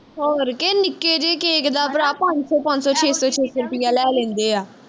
ਹੋਰ ਕਿ ਨਿੱਕੇ ਜੇ cake ਦਾ ਭਰਾ ਪੰਜ ਸੌ ਪੰਜ ਸੌ ਛੇ ਸੌ ਛੇ ਸੌ ਰੁਪਇਆ ਲੈ ਲੈਂਦੇ ਆ